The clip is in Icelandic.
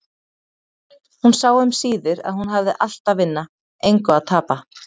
Hún sá um síðir að hún hafði allt að vinna, engu að tapa.